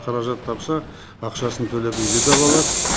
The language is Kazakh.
қаражат тапса ақшасын төлеп үйді де ала алады